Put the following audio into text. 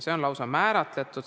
See on lausa kindlaks määratud.